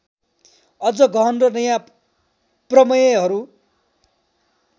अझ गहन र नयाँ प्रमेयहरू